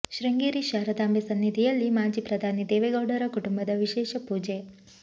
ಶೃಂಗೇರಿ ಶಾರದಾಂಬೆ ಸನ್ನಿಧಿಯಲ್ಲಿ ಮಾಜಿ ಪ್ರಧಾನಿ ದೇವೇಗೌಡರ ಕುಟುಂಬದ ವಿಶೇಷ ಪೂಜೆ